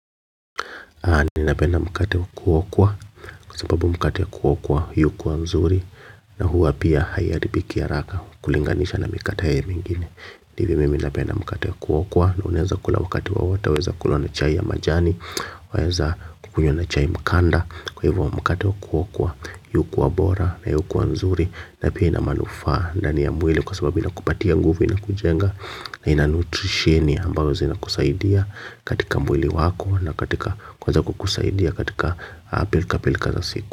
Ninapenda mkate wa kuokwa kwa sababu mkate wa kuokwa hii hukuwa mzuri na huwa pia haiharibiki haraka kulinganisha na mikate haya mingine, ndivyo mimi napenda mkate wa kuokwa na unaweza kula wakati wowote waweza kula na chai ya majani waeza kukunywa na chai mkanda kwa hivyo mkate wa kuokwa yukuwa bora na yukuwa nzuri na pia inamanufaa ndani ya mwili kwa sababu inakupatia nguvu inakujenga na inanutrisheni ambayo zinakusaidia katika mwili wako na katika kuweza kukusaidia katika pilkapilka za siku.